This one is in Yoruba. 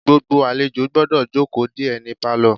Gbogbo àlejò gbọ́dọ̀ jókòó de é ní pálọ̀.